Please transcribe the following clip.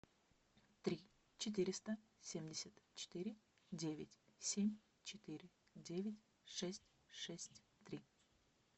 три четыреста семьдесят четыре девять семь четыре девять шесть шесть три